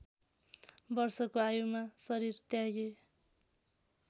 वर्षको आयुमा शरीर त्यागे